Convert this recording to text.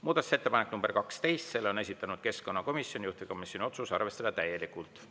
Muudatusettepanek nr 12, selle on esitanud keskkonnakomisjon, juhtivkomisjoni otsus: arvestada täielikult.